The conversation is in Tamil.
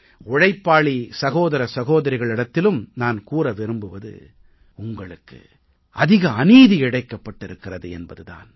உழைப்பாளி சகோதர சகோதரிகளிடத்திலும் நான் கூற விரும்புவது உங்களுக்கு அதிக அநீதி இழைக்கப்பட்டிருக்கிறது என்பது தான்